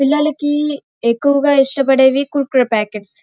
పిల్లలకి ఎక్కువగా ఇష్టపడేవి కురకురే ప్యాకెట్స్ .